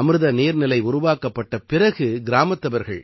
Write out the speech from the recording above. அமிர்த நீர்நிலை உருவாக்கப்பட்ட பிறகு கிராமத்தவர்கள்